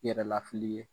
Yɛrɛ lafili ye